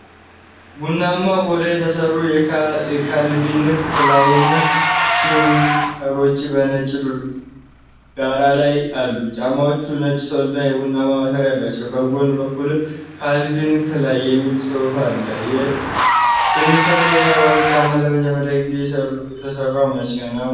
ቡናማ ቆዳ የተሠሩ የካልቪን ክላይን ስኒከሮች በነጭ ዳራ ላይ አሉ። ጫማዎቹ ነጭ ሶልና የቡናማ ማሰሪያ አላቸው። በጎን በኩል 'ካልቪን ክላይን' የሚል ጽሑፍ አለ። ስኒከር የተባሉት ጫማዎች ለመጀመሪያ ጊዜ የተሠሩት መቼ ነበር?